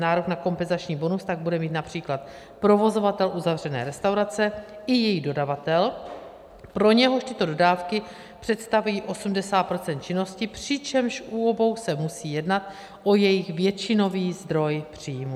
Nárok na kompenzační bonus tak bude mít například provozovatel uzavřené restaurace i její dodavatel, pro něhož tyto dodávky představují 80 % činnosti, přičemž u obou se musí jednat o jejich většinový zdroj příjmů.